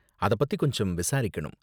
அத பத்தி கொஞ்சம் விசாரிக்கணும்.